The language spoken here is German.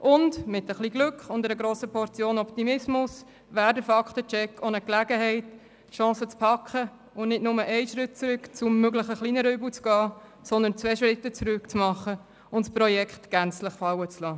Mit ein bisschen Glück und mit einer Portion Optimismus wäre der Fakten-Check auch eine Chance, nicht nur einen Schritt zurück zum kleineren Übel zu gehen, sondern sogar zwei Schritte zurück zu machen und das Projekt gänzlich fallen zu lassen.